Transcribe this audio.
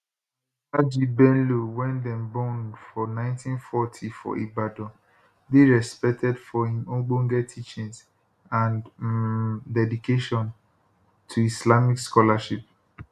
alhaji bello wey dem born for 1940 for ibadan dey respected for im ogbonge teachings and um dedication to islamic scholarship